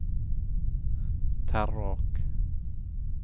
Terråk